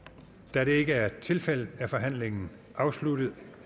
da det ikke er tilfældet er forhandlingen afsluttet